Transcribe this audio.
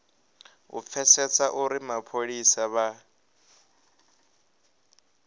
u pfesesa uri mapholisa vha